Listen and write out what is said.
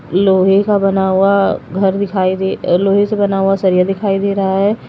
लोहे का बना हुआ घर दिखाइ दे लोहे से बना हुआ सरिया दिखाई दे रहा है।